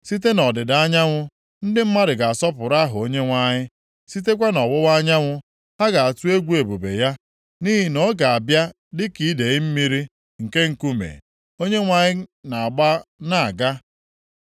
Site nʼọdịda anyanwụ, ndị mmadụ ga-asọpụrụ aha Onyenwe anyị, sitekwa nʼọwụwa anyanwụ, ha ga-atụ egwu ebube ya. Nʼihi na ọ ga-abịa dịka idee mmiri nke nkume, Onyenwe anyị na-agba na-aga. + 59:19 Maọbụ, mgbe onye iro ga-abata dịka idee mmiri, mmụọ nke \+nd Onyenwe anyị\+nd* ga-ebuli ọkọlọtọ imegide ya.